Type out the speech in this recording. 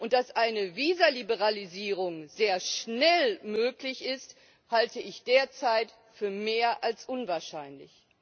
Dass eine Visaliberalisierung sehr schnell möglich ist, halte ich derzeit für mehr als unwahrscheinlich.